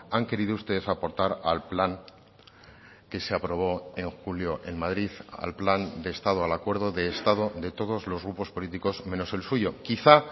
han querido ustedes aportar al plan que se aprobó en julio en madrid al plan de estado al acuerdo de estado de todos los grupos políticos menos el suyo quizá